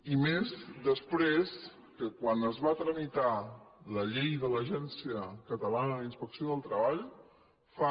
i més després que quan es va tramitar la llei de l’agència catalana d’inspecció del treball fa